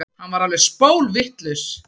Hann var alveg spólvitlaus.